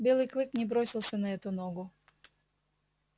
белый клык не бросился на эту ногу